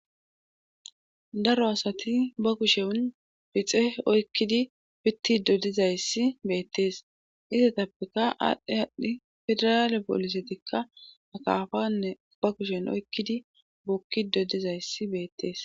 Daro asati ba kushen bixe oykkidi pitti dodizayssi beettees istatappeka aadhdhi adhdhi federaale boolisetikka akaafanne ba kushen oykkidi bokki dodizayssi beettees